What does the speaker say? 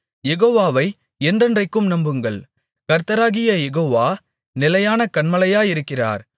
யெகோவாவை என்றென்றைக்கும் நம்புங்கள் கர்த்தராகிய யேகோவா நிலையான கன்மலையாயிருக்கிறார்